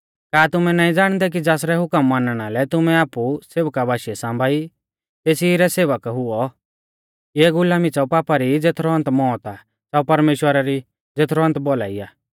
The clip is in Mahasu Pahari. का तुमै नाईं ज़ाणदै कि ज़ासरै हुकम मानणा लै तुमै आपु सेवका बाशीऐ सांबाई तेसी रै सेवक हुऔ इऐ गुलामी च़ाउ पापा री ज़ेथरौ अन्त मौत आ च़ाउ परमेश्‍वरा री ज़ेथरौ अन्त भौलाई आ